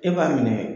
E b'a minɛ